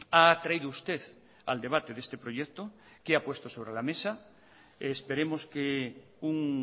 ha traído usted al debate de este proyecto qué ha puesto sobre la mesa esperemos que un